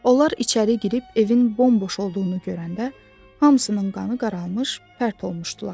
Onlar içəri girib evin bomboş olduğunu görəndə hamısının qanı qaralmış, pərt olmuşdular.